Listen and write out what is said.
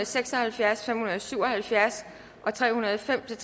seks og halvfjerds fem hundrede og syv og halvfjerds og tre hundrede og fem til